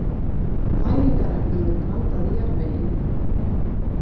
Næringarefnum er blandað í jarðveginn.